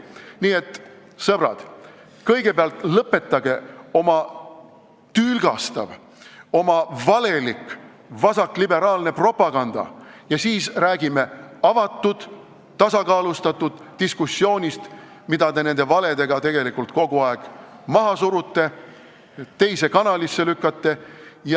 Nii et, sõbrad, kõigepealt lõpetage oma tülgastav, oma valelik vasakliberaalne propaganda ja siis räägime avatud tasakaalustatud diskussioonist, mida te tegelikult valedega kogu aeg maha surute, teise kanalisse lükkate ja ...